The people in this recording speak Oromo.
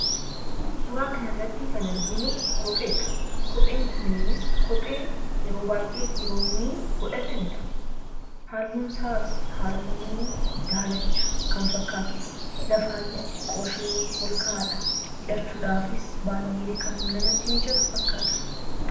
Suuraa kanarratti kan arginu kopheedha. Kopheen kunis kophee yeroo baay'ee dhiironni godhatanidha. Halluun isaas halluu daalacha kan fakkaatudha. Lafaas xiqqooshee ol ka'aadha. Hidhachuudhaafis baay'ee kan namaa mijatu fakkaata.